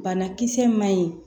Banakisɛ ma ɲi